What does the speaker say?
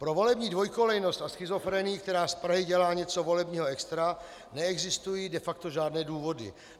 Pro volební dvojkolejnost a schizofrenii, která z Prahy dělá něco volebního extra, neexistují de facto žádné důvody.